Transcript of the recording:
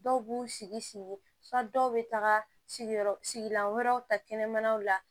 Dɔw b'u sigi sigi sigi dɔw bɛ taga sigilan wɛrɛw ta kɛnɛmanaw la